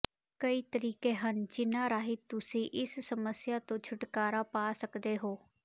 ਕਈ ਤਰੀਕੇ ਹਨ ਜਿਨ੍ਹਾਂ ਰਾਹੀਂ ਤੁਸੀਂ ਇਸ ਸਮੱਸਿਆ ਤੋਂ ਛੁਟਕਾਰਾ ਪਾ ਸਕਦੇ ਹੋ